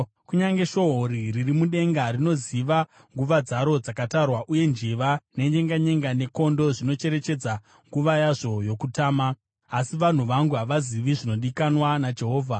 Kunyange shohori riri mudenga rinoziva nguva dzaro dzakatarwa, uye njiva, nenyenganyenga nekondo zvinocherechedza nguva yazvo yokutama. Asi vanhu vangu havazivi zvinodikanwa naJehovha.